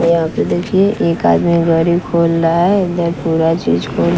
यहां पे देखिए एक आदमी गाड़ी खोल रहा है इधर पूरा चीज खोल--